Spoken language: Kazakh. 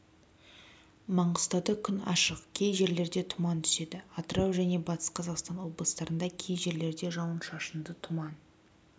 маңғыстауда күн ашық кей жерлерде тұман түседі атырау және батыс қазақстан облыстарында кей жерлерде жауын-шашынды тұман